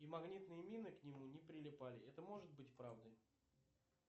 и магнитные мины к нему не прилипали это может быть правдой